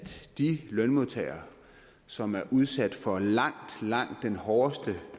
de lønmodtagere som er udsat for langt langt den hårdeste